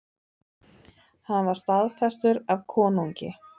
Hann var staðfestur af konungi.